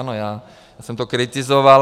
Ano, já jsem to kritizoval.